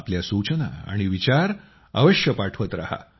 आपल्या सूचना आणि विचार आम्हाल अवश्य पाठवत रहा